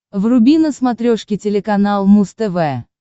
вруби на смотрешке телеканал муз тв